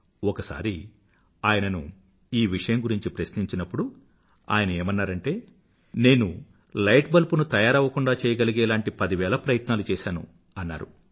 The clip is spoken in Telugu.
ఒకసారి ఆయనను ఈ విషయం గురించి ప్రశ్నించినప్పుడు ఆయన ఏమన్నారంటే నేను లైట్ బల్బ్ ను తయారవ్వకుండా చెయ్యగలిగే లాంటి పదివేల ప్రయత్నాలు చేసాను అన్నారు